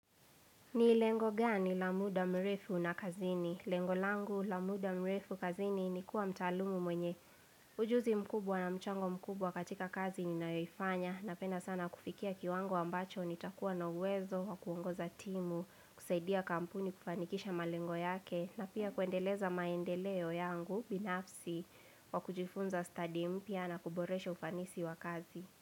Ni lengo gani la muda mrefu na kazini? Lengo langu la muda mrefu kazini ni kuwa mtaalum mwenye ujuzi mkubwa na mchango mkubwa katika kazi ninayoifanya. Napenda sana kufikia kiwango ambacho nitakuwa na uwezo wa kuongoza timu, kusaidia kampuni kufanikisha malengo yake na pia kuendeleza maendeleo yangu binafsi wa kujifunza study mpya na kuboresha ufanisi wa kazi.